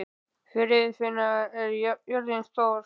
Friðfinna, hvað er jörðin stór?